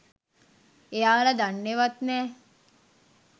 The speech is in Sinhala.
එයාල දන්නෙවත් නෑ